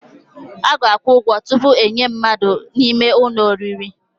A ga-akwụ ụgwọ tupu enye mmadụ ime ụlọ n'ụlọ oriri.